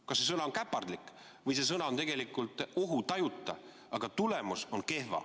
Kas see sõna on "käpardlik" või see sõna on tegelikult "ohutajuta", aga tulemus on kehv.